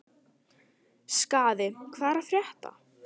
Skaði, hvað er að frétta?